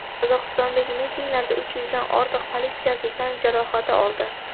Qozog‘istondagi mitinglarda uch yuzdan ortiq politsiyachi tan jarohati oldi.